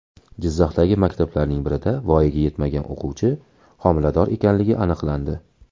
Jizzaxdagi maktablarning birida voyaga yetmagan o‘quvchi homilador ekanligi aniqlandi.